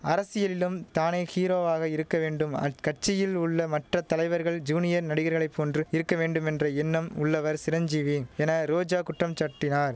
அரசியலிலும் தானே ஹீரோவாக இருக்க வேண்டும் அக்கட்சியில் உள்ள மற்ற தலைவர்கள் ஜூனியர் நடிகர்களை போன்று இருக்க வேண்டுமென்ற எண்ணம் உள்ளவர் சிரஞ்சீவி என ரோஜா குற்றம் சாட்டினார்